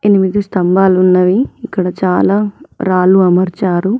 ఎనిమిది స్తంభాలు ఉన్నవి ఇక్కడ చాలా రాళ్లు అమర్చారు.